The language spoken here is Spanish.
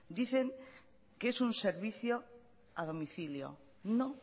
dicen que es un servicio a domicilio no